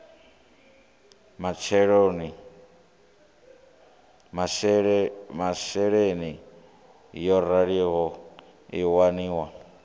masheleni yo raliho i waniwa